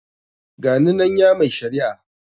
Ga ni nan ya mai shari'a.